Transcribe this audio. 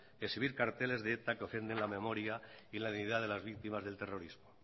exhibir carteles de eta que ofenden la memoria y la dignidad de las víctimas del terrorismo